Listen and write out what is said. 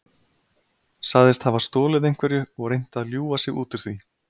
Sagðist hafa stolið einhverju og reynt að ljúga sig út úr því.